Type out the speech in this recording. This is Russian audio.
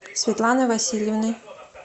светланой васильевной